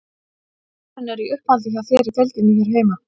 Hvaða leikmenn eru í uppáhaldi hjá þér í deildinni hér heima?